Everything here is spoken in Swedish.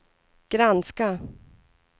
granska